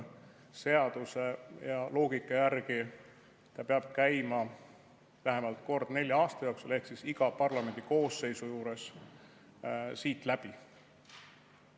Seaduse ja loogika järgi see peab käima vähemalt kord nelja aasta jooksul ehk iga parlamendikoosseisu ajal siit läbi.